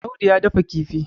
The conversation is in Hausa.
Audu ya dafa kifi